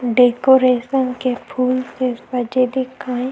decoration के फूल से सजे दिखाई --